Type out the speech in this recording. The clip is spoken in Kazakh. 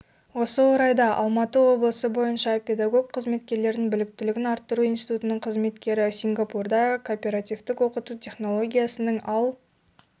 осы орайда алматы облысы бойынша педагог қызметкерлердің біліктілігін арттыру институтының қызметкері сингапурда кооперативтік оқыту технологиясының ал